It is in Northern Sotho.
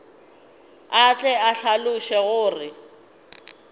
a tle a hlaloše gore